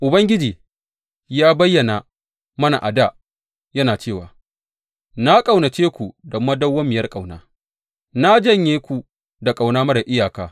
Ubangiji ya bayyana mana a dā, yana cewa, Na ƙaunace ku da madawwamiyar ƙauna; na janye ku da ƙauna marar iyaka.